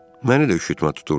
Məni də üşütmə tuturdu.